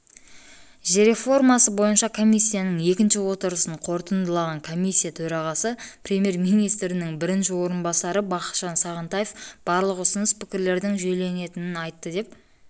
жер реформасы бойынша комиссияның екінші отырысын қорытындылаған комиссия төрағасы премьер-министрінің бірінші орынбасары бақытжан сағынтаев барлық ұсыныс-пікірлердің жүйеленетінін айтты деп